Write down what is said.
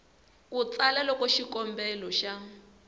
ku tsala loko xikombelo xa